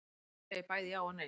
Svar Ég segi bæði já og nei.